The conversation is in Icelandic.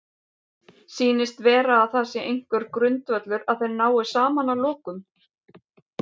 Sýnist vera að það sé einhver grundvöllur að þeir nái saman að lokum?